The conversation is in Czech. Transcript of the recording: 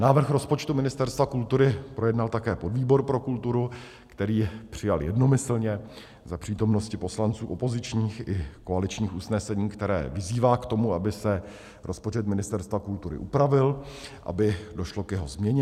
Návrh rozpočtu Ministerstva kultury projednal také podvýbor pro kulturu, který přijal jednomyslně za přítomnosti poslanců opozičních i koaličních usnesení, které vyzývá k tomu, aby se rozpočet Ministerstva kultury upravil, aby došlo k jeho změně.